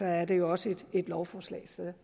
er det jo også et lovforslag så